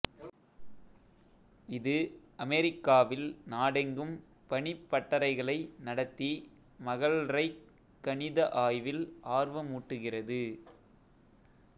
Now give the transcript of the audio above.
இது அமெரிக்காவில் நாடெங்கும் பணிப்பட்டறைகளை நடத்தி மகள்ரைக் கணித ஆய்வில் ஆர்வமூட்டுகிறது